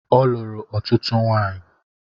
Ọ lụrụ ọtụtụ nwanyi